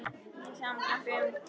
Þó er ekki sami glampi í augum Gullu